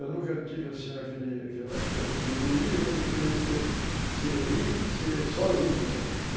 Eu nunca tive, assim, aquela coisa, aquele egoísmo de querer ser ser rico, de ser sozinho, sabe?